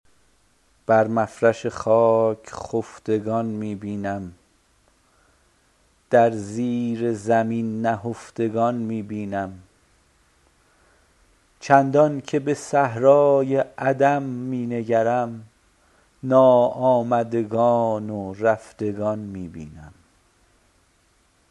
بر مفرش خاک خفتگان می بینم در زیر زمین نهفتگان می بینم چندانکه به صحرای عدم می نگرم ناآمدگان و رفتگان می بینم